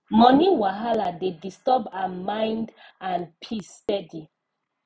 money wahala dey disturb her mind and peace steady